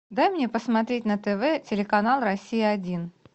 дай мне посмотреть на тв телеканал россия один